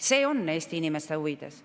See on Eesti inimeste huvides.